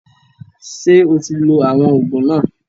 Ṣé o ti lo àwọn òògùn náà?